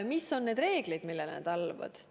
Mis on need reegleid, millele nad alluvad?